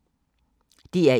DR1